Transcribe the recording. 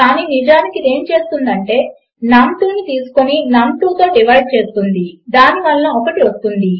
కాని నిజానికి ఇది ఏమి చేస్తుందంటే అది నమ్2 తీసుకొని నమ్2 తో డివైడ్ చేస్తుంది దాని వలన 1 వస్తుంది